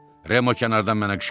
Remo kənardan mənə qışqırdı.